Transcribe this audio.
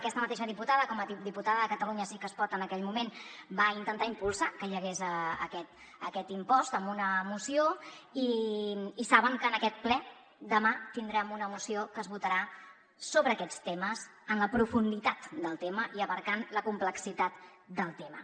aquesta mateixa diputada com a diputada de catalunya sí que es pot en aquell moment va intentar impulsar que hi hagués aquest impost amb una moció i saben que en aquest ple demà tindrem una moció que es votarà sobre aquests temes en la profunditat del tema i abastant la complexitat del tema